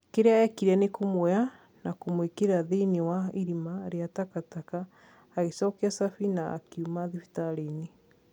Kiria ekire ni kũmuoya na kumũikira thiinie wa irima ria takataka, agicokia cafi na akiuma thibitarĩinĩ